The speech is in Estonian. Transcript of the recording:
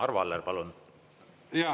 Arvo Aller, palun!